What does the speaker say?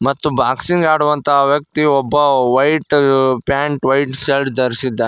ಮತ್ತು ಬಾಕ್ಸಿಂಗ್ ಆಡುವಂತ ವ್ಯಕ್ತಿ ಒಬ್ಬ ವೈಟ್ ಪ್ಯಾಂಟ್ ವೈಟ್ ಶರ್ಟ್ ಧರಿಸಿದ್ದಾ--